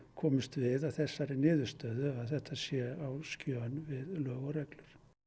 komumst við að þessari niðurstöðu að þetta sé á skjön við lög og reglur